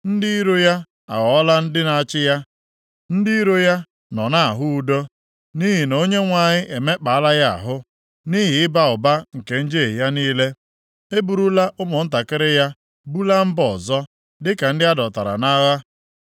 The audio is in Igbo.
Ndị iro ya aghọọla ndị na-achị ya; ndị iro ya nọ nʼahụ udo. Nʼihi na Onyenwe anyị emekpaala ya ahụ, nʼihi ịba ụba nke njehie ya niile. E burula ụmụntakịrị ya bulaa mba ọzọ, dịka ndị a dọtara nʼagha.